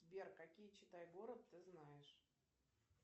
сбер какие читай город ты знаешь